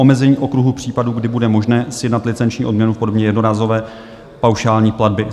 Omezení okruhu případů, kdy bude možné sjednat licenční odměnu v podobě jednorázové paušální platby.